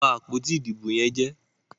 wón bá àpótí Ìdìbò yén jẹ.